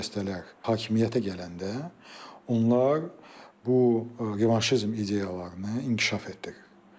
Hakimiyyətə gələndə onlar bu revanşizm ideologiyalarını inkişaf etdirdilər.